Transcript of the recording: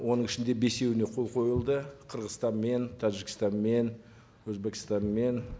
оның ішінде бесеуіне қол қойылды қырғызстанмен тәжікстанмен өзбекстанмен